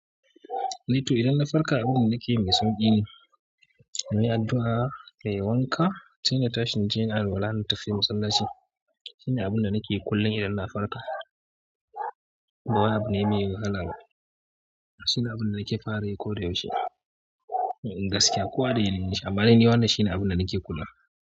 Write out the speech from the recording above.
Eh to idan na farka abin da nakeyi mai sauƙi ne, in yi addu'a, kayi wanka, sai na tashi naje nayi alwala na tafi masallaci. Shine abun da nake yi kullum idan na farka. Ba wai abu ne mai wahala ba. Shine abun da nake fara yi ko da yaushe. Domin gaskiya kowa da yana yin shi amma dai ni wannan shine abun da nake kula.